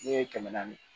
Ne ye kɛmɛ naani